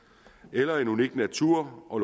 eller en unik natur og